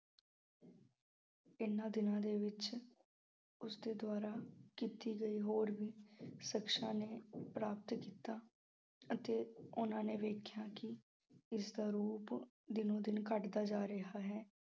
ਇਹਨਾਂ ਦਿਨਾਂ ਦੇ ਵਿੱਚ ਉਸ ਦੇ ਦੁਆਰਾ ਕੀਤੀ ਗਈ ਹੋਰ ਵੀ ਨੂੰ ਪ੍ਰਾਪਤ ਕੀਤਾ ਅਤੇ ਉਹਨਾਂ ਨੇ ਵੇਖਿਆ ਕਿ ਇਸ ਦਾ ਰੂਪ ਦਿਨੋਂ-ਦਿਨ ਘੱਟਦਾ ਜਾ ਰਿਹਾ ਹੈ।